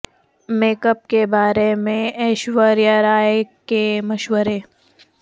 make up کے بارے میں ایشوریا رائے کے مشورے